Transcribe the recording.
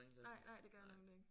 Nej nej det gør jeg nemlig ikke